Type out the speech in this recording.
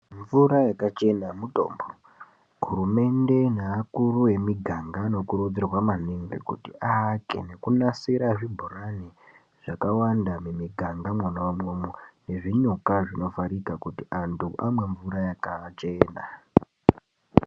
Mvura yakachena mutombo. Hurumende neakuru emiganga anokurudzirwa maningi kuti aake nekunasira zvibhorani zvakawanda mumiganga mwona umwomwo nezvinyuka zvakavharika kuti antu amwe mvura yakachena.